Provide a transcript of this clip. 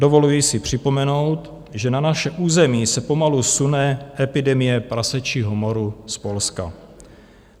Dovoluji si připomenout, že na naše území se pomalu sune epidemie prasečího moru z Polska.